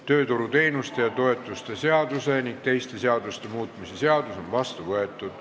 Tööturuteenuste ja -toetuste seaduse ning teiste seaduste muutmise seadus on vastu võetud.